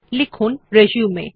লিখুন রিসিউম